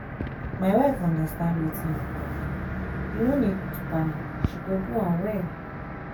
my wife understand wetin you talk you no need to panic she go do am well